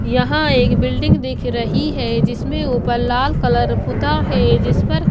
यहां एक बिल्डिंग दिख रही है जिसमें ऊपर लाल कलर पुता है जिस पर--